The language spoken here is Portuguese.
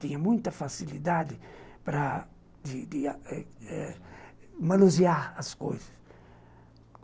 Tinha muita facilidade para de de eh manusear as coisas.